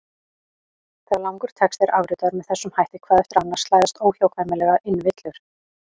Þegar langur texti er afritaður með þessum hætti hvað eftir annað slæðast óhjákvæmilega inn villur.